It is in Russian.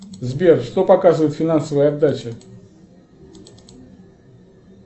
сбер что показывает финансовая отдача